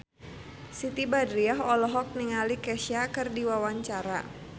Siti Badriah olohok ningali Kesha keur diwawancara